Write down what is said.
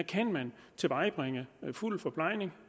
kan man tilvejebringe fuld forplejning